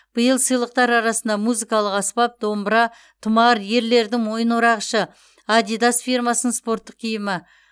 биыл сыйлықтар арасында музыкалық аспап домбыра тұмар ерлердің мойынорағышы адидас фирмасының спорттық киімі